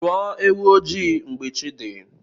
Chụọ ewu ojii mgbe chi dị.